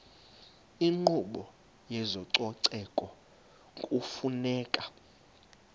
inkqubo yezococeko kufuneka